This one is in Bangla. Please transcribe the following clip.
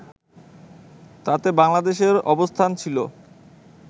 তাতে বাংলাদেশের অবস্থান ছিল